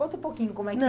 Conta um pouquinho como é